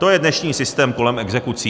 To je dnešní systém kolem exekucí.